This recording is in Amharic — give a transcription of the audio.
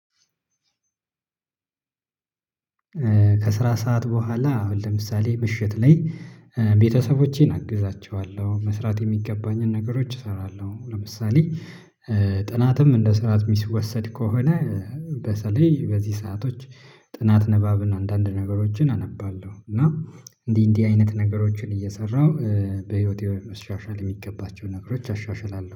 ከስራ ሰዓት በኋላ አሁን ለምሳሌ ምሽት ላይ ቤተሰቦቼን አግዛቸዋለሁ መስራት የሚገባኝን ነገሮች እሰራለሁ። ለምሳሌ ጥናትም እንደ ስራ ሚወሰድ ከሆነ። በተለይ በዚህ ሰአቶች ጥናት ንባብን አንዳንድ ነገሮችን አነባለሁ። እና እንዲህ እንዲህ አይነት ነገሮችን እየሰራሁ በህይወቴ መሻሻል የሚገባቸው ነገሮች አሻሽላለሁ